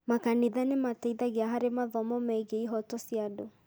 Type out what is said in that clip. Makanitha nĩ mateithagia harĩ mathomo megiĩ ihooto cia andũ.